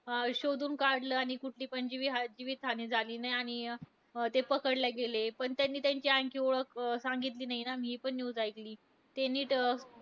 अं शोधून काढलं आणि कुठली पण जीवी जीवितहानी झाली नाही आणि अं ते पकडले गेले. पण त्यांनी त्यांची आणखी ओळख अं सांगितली नाही ना. मी हि पण news ऐकली. ते नीट